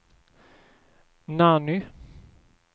Nanny